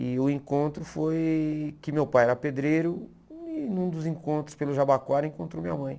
E o encontro foi que meu pai era pedreiro e num dos encontros pelo Jabaquara encontrou minha mãe.